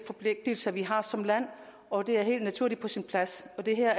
forpligtelser vi har som land og det er helt naturligt og på sin plads og det her